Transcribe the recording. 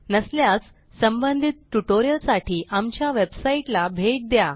नसल्यास संबंधित ट्युटोरियलसाठी आमच्या वेबसाईटला भेट द्या